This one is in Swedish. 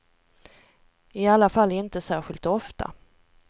I alla fall inte särskilt ofta.